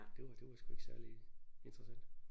Det var det var sgu ikke særligt interessant